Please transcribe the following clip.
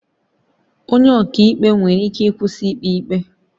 Onye ọka ikpe nwere ikike ịkwụsị ikpe ikpe